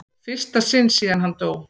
fyrsta sinn síðan hann dó.